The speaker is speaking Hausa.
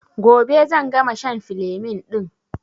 Gobe zan gama shan filemin ɗin